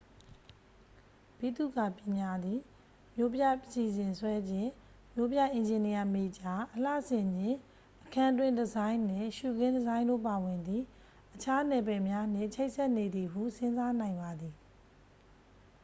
ဗိသုကာပညာသည် မြို့ပြအစီစဉ်ဆွဲခြင်း မြို့ပြအင်ဂျင်နီယာမေဂျာ အလှဆင်ခြင်း အခန်းတွင်းဒီဇိုင်းနှင့် ရှုခင်းဒီဇိုင်းတို့ပါဝင်သည့် အခြားနယ်ပယ်များနှင့် ချိတ်ဆက်နေသည်ဟု စဉ်းစားနိုင်ပါသည်